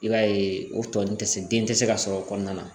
I b'a ye o tɔ ninnu tɛ se den tɛ se ka sɔrɔ o kɔnɔna na